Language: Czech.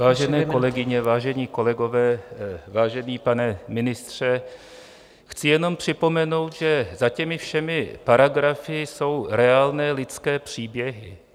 Vážené kolegyně, vážení kolegové, vážený pane ministře, chci jenom připomenout, že za těmi všem paragrafy jsou reálné lidské příběhy.